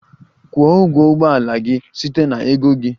Kwụọ ụgwọ ụgbọ ala gị site na ego gị!